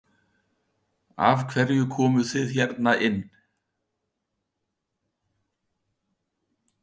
Helga: Af hverju komuð þið hérna inn?